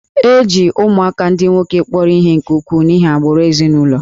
E ji ụmụaka ndị nwoke kpọrọ ihe nke ukwuu n'ihi agbụrụ ezinụlọ